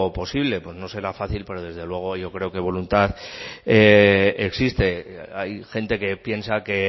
posible pues no será fácil pero desde luego yo creo que voluntad existe hay gente que piensa que